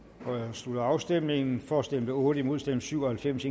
slutter afstemningen for stemte otte imod stemte syv og halvfems